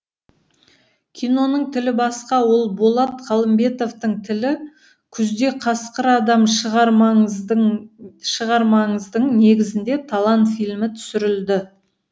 киноның тілі басқа ол болат қалымбетовтың тілі күзде қасқыр адам шығармаңыздың негізінде талан фильмі түсірілді